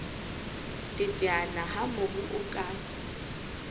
teteana ha mobu o ka